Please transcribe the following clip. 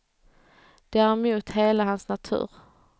Det är emot hela hans natur.